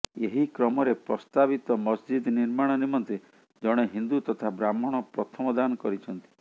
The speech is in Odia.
ଏହି କ୍ରମରେ ପ୍ରସ୍ତାବିତ ମସଜିଦ୍ ନିର୍ମାଣ ନିମନ୍ତେ ଜଣେ ହିନ୍ଦୁ ତଥା ବ୍ରାହ୍ଣଣ ପ୍ରଥମ ଦାନ କରିଛନ୍ତି